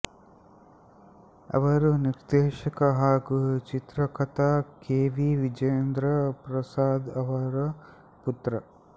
ಅವರು ನಿರ್ದೇಶಕ ಹಾಗೂ ಚಿತ್ರಕಥಾ ಕೆ ವಿ ವಿಜಯೇಂದ್ರ ಪ್ರಸಾದ್ ಅವರ ಪುತ್ರ